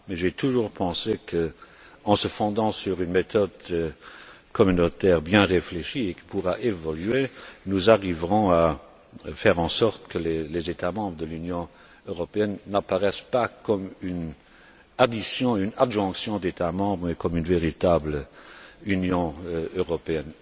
Mais j'ai toujours pensé qu'en se fondant sur une méthode communautaire bien réfléchie, et qui pourra évoluer, nous arriverons à faire en sorte que les États membres de l'Union européenne n'apparaissent pas comme une addition ou une adjonction d'États membres mais comme une véritable Union européenne.